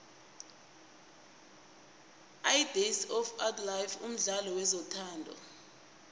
idays of ourlife mdlalo wezothando